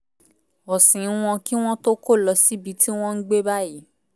ọ̀sìn wọn kí wọ́n tó kó lọ síbi tí wọ́n ń gbé báyìí